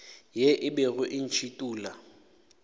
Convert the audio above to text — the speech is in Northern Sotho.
ye e bego e ntšhithola